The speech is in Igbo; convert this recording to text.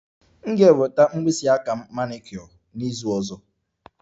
M ga-enweta mkpịsị aka m manicure n'izu ọzọ